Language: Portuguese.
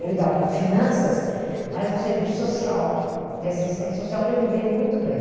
Eu lidava com finanças, mas num serviço social, de assistência social, onde eu me dei muito bem.